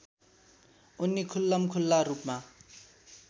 उनी खुल्लमखुल्ला रूपमा